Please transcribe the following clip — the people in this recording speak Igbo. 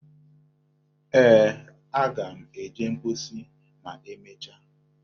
Ee, aga m eje mposi ma e mesia.